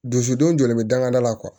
Dusu don jɔlen bɛ dangada la